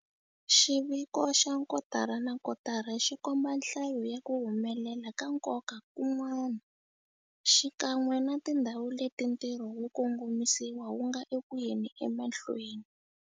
Xiviko xa kotara na kotara xi komba nhlayo ya ku humelela ka nkoka kun'wana, xikan'we na tindhawu leti ntirho wo kongomisa wu nga eku yeni emahlweni.